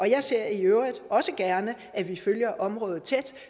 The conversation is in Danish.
jeg ser i øvrigt også gerne at vi følger området tæt